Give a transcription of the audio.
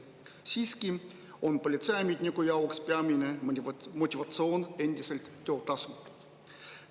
Siiski on politseiametniku jaoks peamine motivatsioon endiselt töötasu.